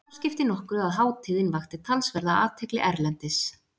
Þar skipti nokkru að hátíðin vakti talsverða athygli erlendis.